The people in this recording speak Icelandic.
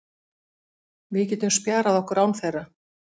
Við getum spjarað okkur án þeirra.